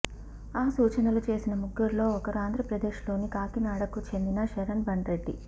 ఆ సూచనలు చేసిన ముగ్గురిలో ఒకరు ఆంధ్రప్రదేశ్లోని కాకినాడకు చెందిన శరణ్ బండ్రెడ్డి